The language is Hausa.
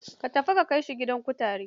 Tafi ka kai shi gidan kutare.